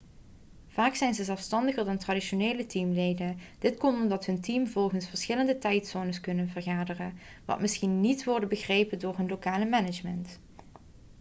vaak zijn ze zelfstandiger dan traditionele teamleden dat komt omdat hun teams volgens verschillende tijdzones kunnen vergaderen wat misschien niet worden begrepen door hun lokale management